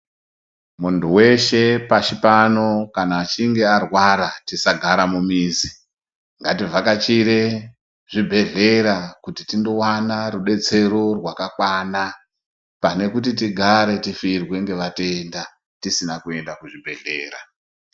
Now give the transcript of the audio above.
Muntu veshe pashi pano kana achinge arwara tisagara mumizi. Ngativhakachire zvibhedhlera kuti tindovana rubetsero rwakakwana. Pane kuti tidare tifirwe ngevatenda tisina kuenda kuzvibhedhlera.